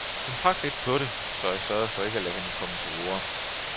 Hun trak lidt på det, så jeg sørgede for ikke at lade hende komme til orde.